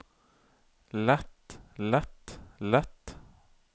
lett lett lett